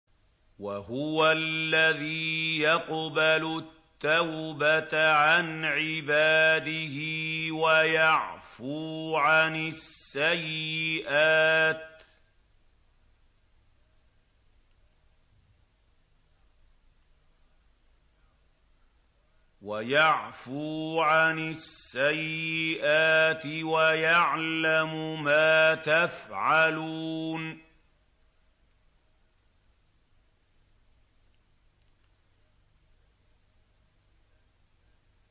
وَهُوَ الَّذِي يَقْبَلُ التَّوْبَةَ عَنْ عِبَادِهِ وَيَعْفُو عَنِ السَّيِّئَاتِ وَيَعْلَمُ مَا تَفْعَلُونَ